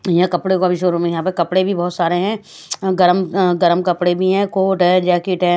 यहां कपड़ों का भी शोरूम है यहां पर कपड़े भी बहुत सारे हैं गरम गरम कपड़े भी हैं कोट है जैकेट है।